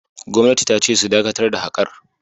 Gwamnati ta ce su dakatar da haƙar!